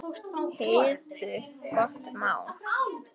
Heyrðu, gott mál.